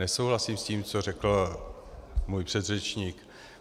Nesouhlasím s tím, co řekl můj předřečník.